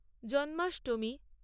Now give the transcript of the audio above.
Janmashtami